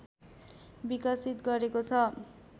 विकसित गरेको छ